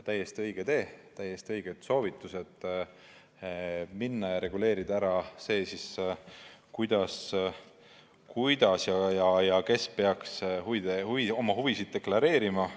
Täiesti õige tee, täiesti õiged soovitused reguleerida ära, kuidas ja kes peaks oma huvisid deklareerima.